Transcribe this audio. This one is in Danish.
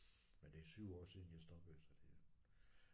Men det er 7 år siden jeg stoppede så det